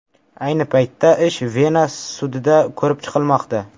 Ayni paytda ish Vena sudida ko‘rib chiqilmoqda.